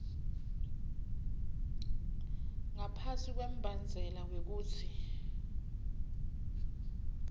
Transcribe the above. ngaphasi kwembandzela wekutsi